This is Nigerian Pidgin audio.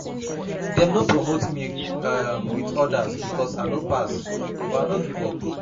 Dem no promote me um wit odas because I no pass but I no give up.